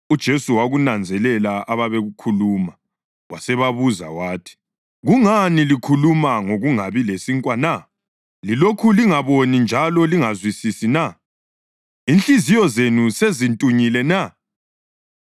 UJesu wakunanzelela ababekukhuluma, wasebabuza wathi, “Kungani likhuluma ngokungabi lasinkwa na? Lilokhu lingaboni njalo lingazwisisi na? Inhliziyo zenu sezintunyile na?